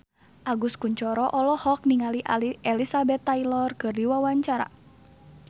Agus Kuncoro olohok ningali Elizabeth Taylor keur diwawancara